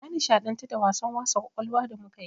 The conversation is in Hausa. Na nishaɗantu da wasan wasa ƙwaƙwalwa da muka yi.